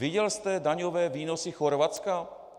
Viděl jste daňové výnosy Chorvatska?